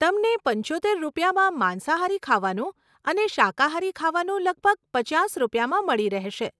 તમને પંચોતેર રૂપિયામાં માંસાહારી ખાવાનું અને અને શાકાહારી ખાવાનું લગભગ પચાસ રૂપિયામાં મળી રહેશે.